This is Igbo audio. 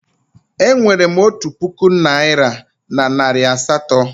Enwerem otu puku naira na nari asatọ